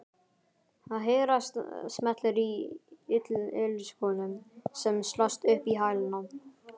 Það heyrast smellir í ilskónum sem slást upp í hælana.